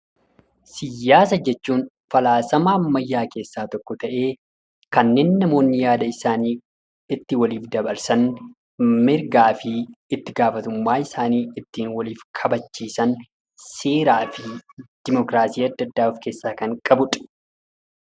Siyaasa jechuun falaasama ammayyaa keessaa tokko ta'ee kanneen namoonni yaada isaanii itti waliif dabarsan, mirgaa fi itti gaafatamummaa isaanii ittiin waliif kabachiisan, seeraa fi dimokiraasii adda addaa kan of keessaa qabudha.